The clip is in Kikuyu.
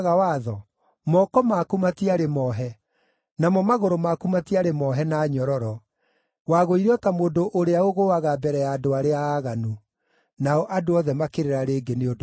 Moko maku matiarĩ moohe, namo magũrũ maku matiarĩ moohe na nyororo. Wagũire o ta mũndũ ũrĩa ũgũũaga mbere ya andũ arĩa aaganu.” Nao andũ othe makĩrĩra rĩngĩ nĩ ũndũ wake.